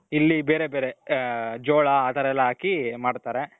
ಇಲ್ಲಿ ಬೇರೆ ಬೇರೆ, ಜೋಳ ಆ ತರ ಎಲ್ಲಾ ಹಾಕಿ ಮಾಡ್ತಾರೆ.